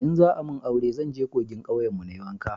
in za a mun aure zan je kogin kauyen mu na yi wanka